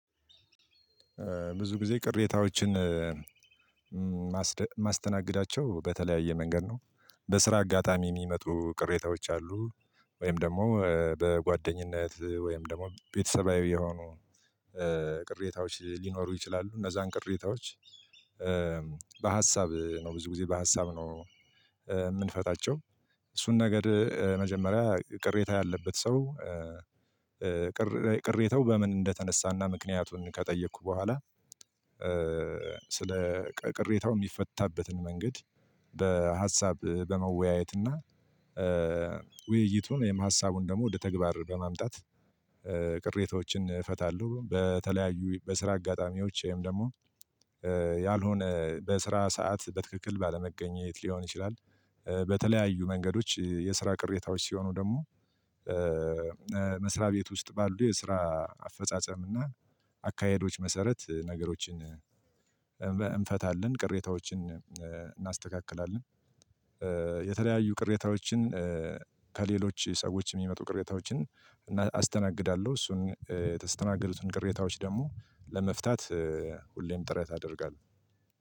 ብዙ ጊዜ ቅሬታዎችን ማስተናገዳቸው በተለያየ መንገድ ነው። በስራ አጋጣሚ ሚመጡ ቅሬታዎች አሉ። ወይም ደግሞ በጓደኝነት ወይም ደግሞ ቤተሰባዊ የሆኑ ቅሬታዎች ሊኖሩ ይችላሉ። እነዛን ቅሬታዎች። በሀሳብ ነው ብዙ ጊዜ በሀሳብ ነው። ምንፈታቸው። እሱን ነገር መጀመሪያ ቅሬታ ያለበት ሰው ቅሬታው በምን እንደተነሳና ምክንያቱን ከጠየኩ በኋላ። ስለ ቀ ቅሬታው ሚፈታበትን መንገድ። በሀሳብ በመወያየት እና ውይይቱን ወይም ሀሳቡን ደሞ ወደ ተግባር በማምጣት። ቅሬታዎችን ይፈታሉ። በተለያዩ በስራ አጋጣሚዎች ወይም ደሞ ያልሆነ በስራ ሰዓት በትክክል ባለመገኘት ሊሆን ይችላል። በተለያዩ መንገዶች የስራ ቅሬታዎች ሲሆኑ ደሞ። መስራቤት ውስጥ ባሉ የስራ አፈጻጸም እና ኣካሄዶች መሰረት ነገሮችን እንፈታለን ቅሬታዎችን እናስተካክላለን። የተለያዩ ቅሬታዎችን ከሌሎች ሰዎች ሚመጡ ቅሬታዎችን አስተናግዳለው። እሱን የተስተናገዱትን ቅሬታዎች ደሞ ለመፍታት ሁሌም ጥረት አደርጋለው።